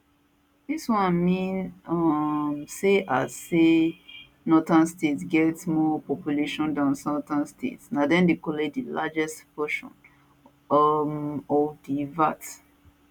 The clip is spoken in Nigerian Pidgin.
dis one mean um say as say as northern states get more population dan southern states na dem dey collect di largest portion um of di vat